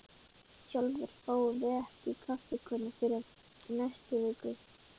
Sjálfir fáum við ekki kaffikönnu fyrr en í næstu viku.